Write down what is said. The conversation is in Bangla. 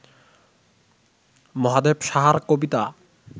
মহাদেব সাহার কবিতা